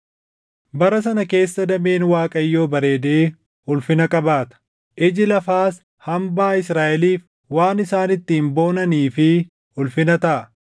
Bara sana keessa dameen Waaqayyoo bareedee ulfina qabaata; iji lafaas hambaa Israaʼeliif waan isaan ittiin boonanii fi ulfina taʼa.